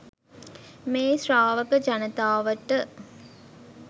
මේ ශ්‍රාවක ජනතාවට